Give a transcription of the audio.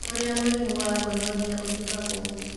ũrĩa mũrimũ wa gonorrhea ũthimagwo